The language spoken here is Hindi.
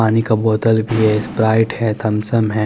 पानी का बोतल भी है स्प्राइट है थम्स अप है।